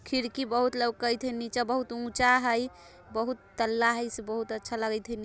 खिड़की बहुत लोकयते नीचे। बहुत उच्चा है बहुत तल्ला हई। इससे बहुत अच्छा लागत है।